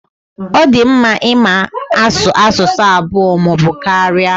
Ọ di mmadụ ịma asụ asụsụ abụọ maọbụ karịa.